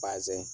Bazɛn